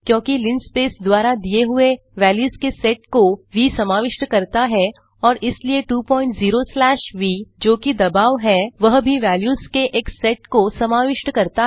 क्योंकि लिनस्पेस द्वारा दिए हुए वेल्यूस के सेट को व समाविष्ट करता हैं और इसलिए 20 स्लैश व जोकि दबाव है वह भी वेल्यूस के एक सेट को समाविष्ट करता हैं